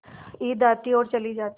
ईद आती और चली जाती